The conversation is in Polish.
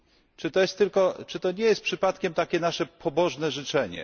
Czy to nie jest przypadkiem takie nasze pobożne życzenie?